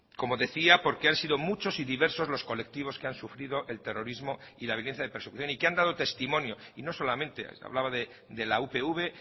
como decía porque han sido muchos y diversos los colectivos que han sufrido el terrorismo y la violencia de persecución y que han dado testimonio y no solamente hablaba de la upv